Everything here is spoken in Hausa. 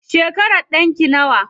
Shekaran ɗanki nawa?